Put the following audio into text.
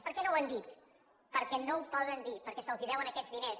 per què no ho han dit perquè no ho poden dir perquè se’ls deuen aquests diners